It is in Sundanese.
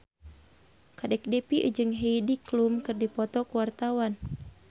Kadek Devi jeung Heidi Klum keur dipoto ku wartawan